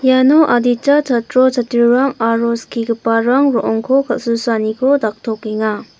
iano adita chatro chatrirang aro skigiparang ro·ongko kal·susaaniko daktokenga.